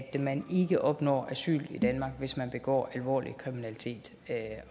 at man ikke opnår asyl i danmark hvis man begår alvorlig kriminalitet